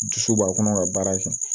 Dusu b'a kɔnɔ ka baara kɛ